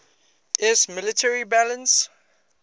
iiss military balance